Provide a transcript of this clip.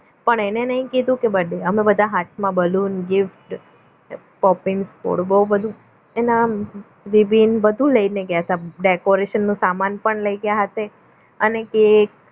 પણ એને નહીં કીધું કે birthday અમે બધા હાથમાં balloon gift copings બહુ બધું એના rebin બધું લઈને ગયા હતા decoration નો સામાન પણ લઈ ગયા સાથે અને કેક